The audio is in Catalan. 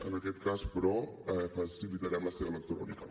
en aquest cas però facilitarem la seva lectura única